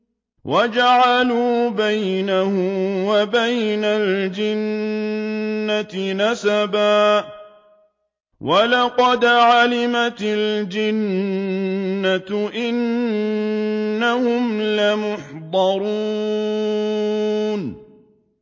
وَجَعَلُوا بَيْنَهُ وَبَيْنَ الْجِنَّةِ نَسَبًا ۚ وَلَقَدْ عَلِمَتِ الْجِنَّةُ إِنَّهُمْ لَمُحْضَرُونَ